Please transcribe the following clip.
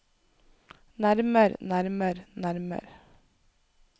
nærmer nærmer nærmer